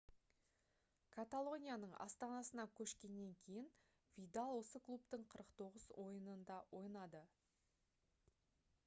каталонияның астанасына көшкеннен кейін видал осы клубтың 49 ойынында ойнады